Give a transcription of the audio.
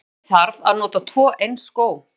Af hverju þarf að nota tvo eins skó?